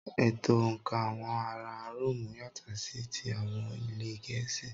Ètò̀ òǹkà àwọn ara róòmù yàtọ̀ sí ti àwọn ilẹ̀ Gẹ̀ẹ́sì.